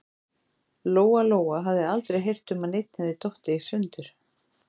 Lóa-Lóa hafði aldrei heyrt um að neinn hefði dottið í sundur.